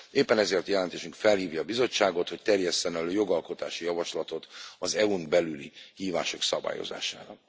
Éppen ezért jelentésünk felhívja a Bizottságot, hogy terjesszen elő jogalkotási javaslatot az EU n belüli hívások szabályozására.